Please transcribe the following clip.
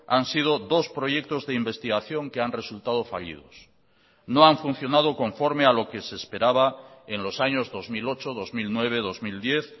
han sido dos proyectos de investigación que han resultado fallidos no han funcionado conforme a lo que se esperaba en los años dos mil ocho dos mil nueve dos mil diez